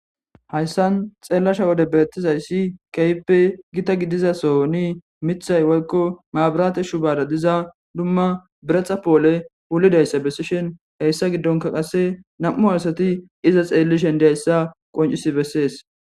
hayssan xeellasha wode beettizayssi keyppe gita gidiza sooni mithay woykko maaburaate shubada diza dumma biretxa poole wulidayssa bessishin heyssa giddonka qase nam7u asati iza xeellishendiayssa qoncisi bessees